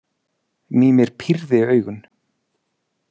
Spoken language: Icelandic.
Mímir pírði augun.